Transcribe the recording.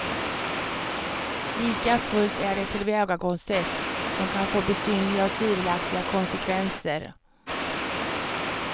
Likafullt är det ett tillvägagångssätt som kan få besynnerliga och tvivelaktiga konsekvenser.